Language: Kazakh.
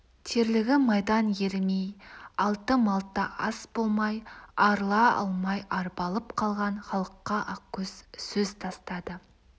терлігі майдан ерімей алты малта ас болмай арыла алмай арбалып қалған халыққа ақкөз сөз тастады